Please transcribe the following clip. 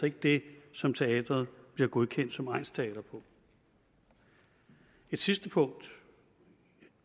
ikke det som teatret bliver godkendt som egnsteater på et sidste punkt